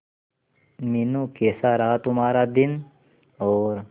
मीनू कैसा रहा तुम्हारा दिन और